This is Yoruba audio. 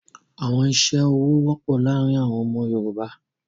Awọn iṣẹ-ọwọ wọpọ laarin awọn ọmọ Yorùbá